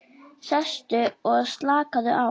Sestu og slakaðu á.